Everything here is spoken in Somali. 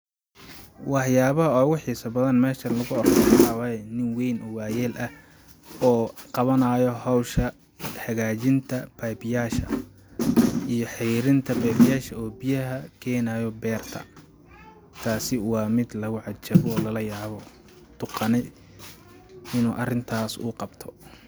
Waxyabaha ogu xisa badhan meshan lagu arko, waxa waye nin weyn oo wayal ah oo qabanayo hosha hagajinta pepyasha iyo xerinta pepyasha, oo biyaha kenayo berta tasi wa mid lagu cajabo oo lalayabo duqani inu arintas uu qabto.